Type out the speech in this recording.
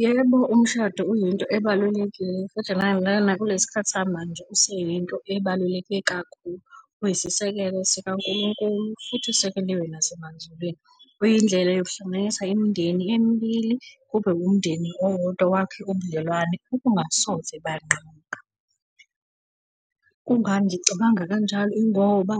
Yebo, umshado uyinto ebalulekile futhi nakule sikhathi samanje, useyinto ebaluleke kakhulu. Uyisisekelo sika nkulunkulu futhi usekeliwe nasemazulwini. Uyindlela yokuhlanganisa imindeni emibili, kube umndeni owodwa, wakhe ubudlelwane obungasoze banqamuka. Kungani ngicabanga kanjalo? Ingoba